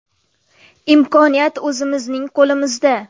Imkoniyat o‘zimizning qo‘limizda.